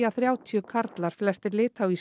að þrjátíu karlar flestir